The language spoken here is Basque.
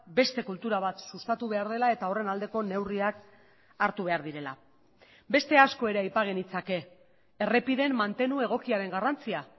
beste kultura bat sustatu behar dela eta horren aldeko neurriak hartu behar direla beste asko ere aipa genitzake errepideen mantenu egokiaren garrantzia